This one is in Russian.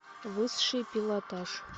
высший пилотаж